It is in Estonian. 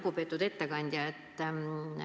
Lugupeetud ettekandja!